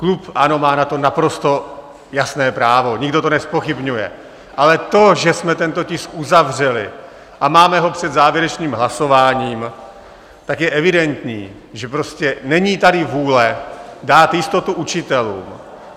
Klub ANO má na to naprosto jasné právo, nikdo to nezpochybňuje, ale to, že jsme tento tisk uzavřeli a máme ho před závěrečným hlasováním, tak je evidentní, že prostě není tady vůle dát jistotu učitelům.